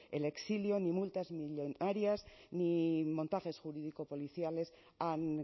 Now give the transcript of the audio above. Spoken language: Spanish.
el exilio ni multas millónarias ni montajes jurídico policiales han